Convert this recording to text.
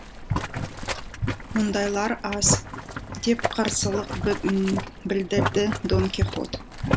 мұндайлар аз деп қарсылық білдірді дон кихот